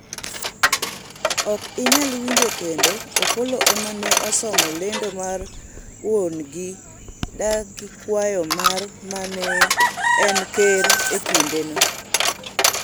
ok inyal winjo kendo, Opolo emane osomo lendo mar wuon'gi dagi kwayo mar mane en ker e kindeno